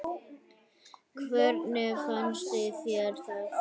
Hvernig fannst þér það?